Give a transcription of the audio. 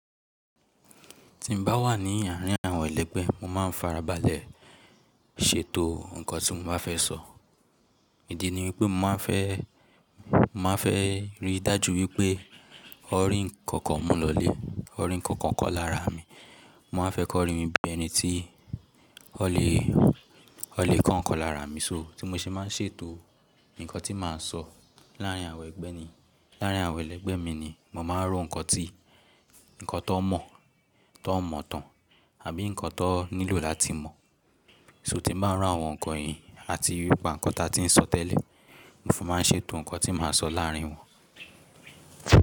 Tí n bá wà ní àárín àwọn ẹlẹ́gbẹ́, mo máa ń farabalẹ̀ ṣètò nǹkan tí mo báa fẹ́ sọ. Ìdí ni wípé màá n fẹ́, mà á fẹ́ rí dájú wípé ọ̀rí nnkan kan mú lọlé, ọ̀rín nnkan kan kọ lára mi. Mà á fẹ́ kọrin bí ẹni tí ó lè, ó lè kọ ǹkan lára mi. So tí mo ṣe máa ń ṣètò ǹkan tí màá sọ láàrín àwọn ẹgbẹ́ ni, láàrín àwọn ẹlẹ́gbẹ́ mi ni mo máa ń rò nkan tí, ǹkan tón mọ̀, tón mọ̀ tán àbí ǹkan tón nílò láti mọ̀. So tí n bá ri iru àwọn ǹkan yìí àti nípa ǹkan ta tí ń sọ tẹ́lẹ̀, mo fún máa ń ṣètò ǹkan tí mà á sọ láàrín wọn.